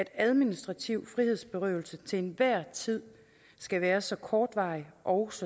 administrativ frihedsberøvelse til enhver tid skal være så kortvarig og